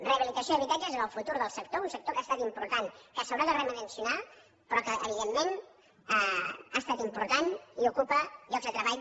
rehabilitació d’habitatges és el futur del sector un sector que ha estat important que s’haurà de redimen sionar però que evidentment ha estat important i ocupa llocs de treball